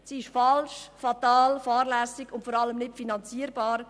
Sie ist falsch, fatal, fahrlässig und nicht finanzierbar.